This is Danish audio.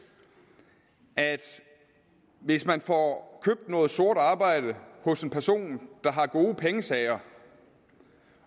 at hvis man får købt noget sort arbejde hos en person der har gode pengesager